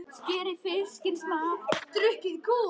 Skerið fiskinn smátt.